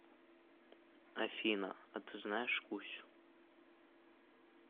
афина а ты знаешь кусю